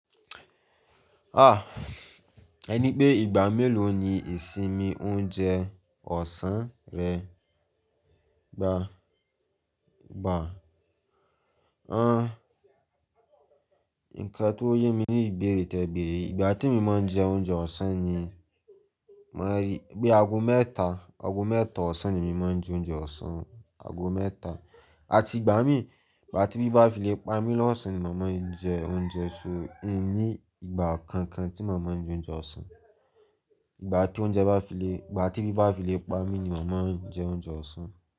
Ah! Ẹ ní pé ìgbà mélòó ni ìsinmi oúnjẹ ọ̀sán rẹ gba, gba. Nǹkan tó yé mi ní ìbéèrè tẹ beèrè. Ìgbà temi máa ń jẹ oúnjẹ ọ̀sán ni, mo rí bi ago mẹ́ta, ago mẹ́ta ọ̀sán ni mo máa ń jẹ oúnjẹ ọ̀sán, ago mẹ́ta. Àti ìgbà mí, ìgbà tí bíbá fi lè pa mí lọ́sàn ni màá máa ń jẹ oúnjẹ, so ẹ ní ìgbà kankan tí màá máa ń jẹ oúnjẹ ọ̀sán. Ìgbà tí oúnjẹ bá fi lè, ìgbà tí bíbá fi lè pa mí ni màá máa ń jẹ oúnjẹ ọ̀sán.